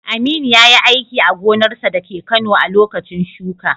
Aminu yayi aiki a gonarsa dake Kano a lokacin shuka.